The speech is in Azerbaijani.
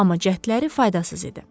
Amma cəhdləri faydasız idi.